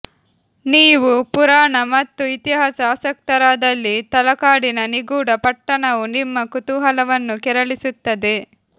ನೀವು ಪುರಾಣ ಮತ್ತು ಇತಿಹಾಸ ಆಸಕ್ತರಾದಲ್ಲಿ ತಲಕಾಡಿನ ನಿಗೂಢ ಪಟ್ಟಣವು ನಿಮ್ಮ ಕುತೂಹಲವನ್ನು ಕೆರಳಿಸುತ್ತದೆ